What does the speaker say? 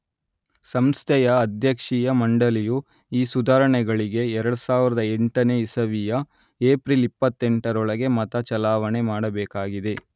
ಸಂಸ್ಥೆಯ ಅಧ್ಯಕ್ಷೀಯ ಮಂಡಳಿಯು ಈ ಸುಧಾರಣೆಗಳಿಗೆ 2008ನೇ ಇಸವಿಯ ಏಪ್ರಿಲ್ 28ರೊಳಗೆ ಮತ ಚಲಾವಣೆ ಮಾಡಬೇಕಾಗಿದೆ